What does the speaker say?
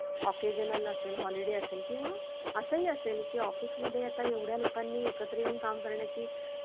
occasion असेल, holiday असेल किंवा असंही असेल की office मध्ये आता एवढ्या लोकांनी एकत्र येऊन काम करण्याची